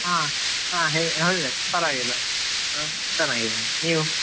ಹಾ ಪರವಾಗಿಲ್ಲ ಆ ಚನ್ನಾಗಿದ್ದೇನೆ, ನೀವ್?